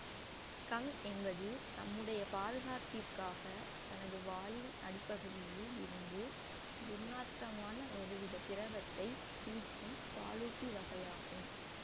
skunk என்பது தம்முடைய பாதுகாப்பிற்காக தனது வாலின் அடிப்பகுதியில் இருந்து துர்நாற்றமான ஒருவித திரவத்தைப் பீய்ச்சும் பாலூட்டி வகையாகும்